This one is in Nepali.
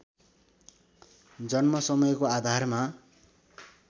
जन्म समयको आधारमा